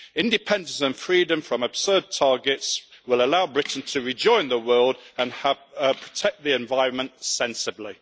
Independence and freedom from absurd targets will allow Britain to rejoin the world and help protect the environment sensibly.